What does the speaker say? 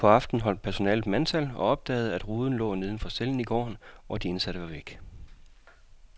Sent på aftenen holdt personalet mandtal og opdagede, at ruden lå neden for cellen i gården, og de indsatte var væk.